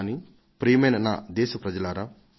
కానీ ప్రియమైన నా దేశ వాసులారా